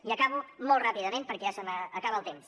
i acabo molt ràpidament perquè ja se m’acaba el temps